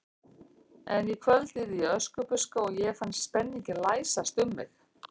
En í kvöld yrði ég Öskubuska og ég fann spenninginn læsast um mig.